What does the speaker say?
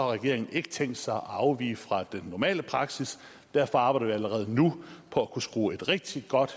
regeringen ikke tænkt sig at afvige fra den normale praksis derfor arbejder vi allerede nu på at kunne skrue et rigtig godt